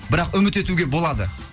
бірақ үміт етуге болады